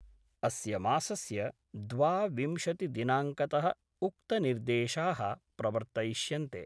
अस्य मासस्य द्वाविंशतिदिनांकत: उक्तनिर्देशा: प्रवर्तयिष्यन्ते।